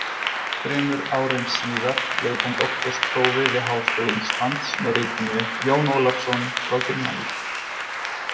Þremur árum síðar lauk hann doktorsprófi við Háskóla Íslands með ritinu Jón Ólafsson frá Grunnavík.